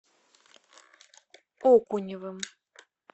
окуневым